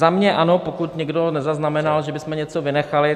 Za mě ano, pokud někdo nezaznamenal, že bychom něco vynechali.